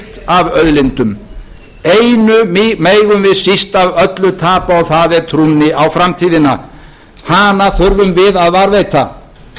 ríkt af auðlindum einu megum við síst af öllu tapa og það er trúnni á framtíðina hana þurfum við að varðveita